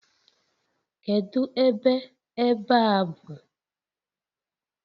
Kedu ebe ebe a bụ?